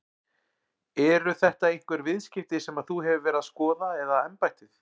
Eru þetta einhver viðskipti sem að þú hefur verið að skoða eða embættið?